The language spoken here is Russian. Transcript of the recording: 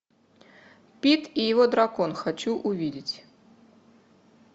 пит и его дракон хочу увидеть